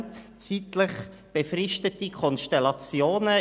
Es handelt sich um zeitlich befristete Konstellationen.